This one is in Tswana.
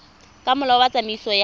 ka molao wa tsamaiso ya